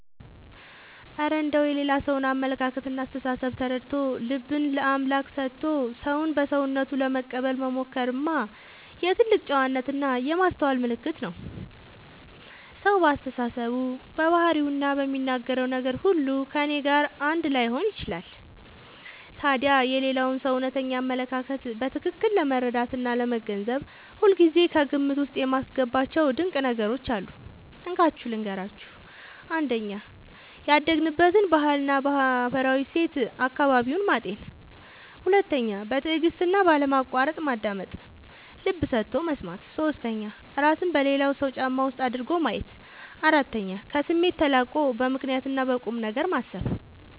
እረ እንደው የሌላ ሰውን አመለካከትና አስተሳሰብ ተረድቶ፣ ልብን ለአምላክ ሰጥቶ ሰውን በሰውነቱ ለመቀበል መሞከርማ የትልቅ ጨዋነትና የማስተዋል ምልክት ነው! ሰው በአስተሳሰቡ፣ በባህሪውና በሚናገረው ነገር ሁሉ ከእኔ ጋር አንድ ላይሆን ይችላል። ታዲያ የሌላውን ሰው እውነተኛ አመለካከት በትክክል ለመረዳትና ለመገንዘብ ሁልጊዜ ከግምት ውስጥ የማስገባቸው ድንቅ ነገሮች አሉ፤ እንካችሁ ልንገራችሁ - 1. ያደገበትን ባህልና ማህበራዊ እሴት (አካባቢውን) ማጤን 2. በትዕግስትና ባለማቋረጥ ማዳመጥ (ልብ ሰጥቶ መስማት) 3. እራስን በሌላው ሰው ጫማ ውስጥ አድርጎ ማየት 4. ከስሜት ተላቆ በምክንያትና በቁምነገር ማሰብ